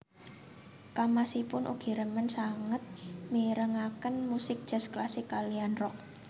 Kamasipun ugi remen sanget mirengaken musik jazz klasik kaliyan rock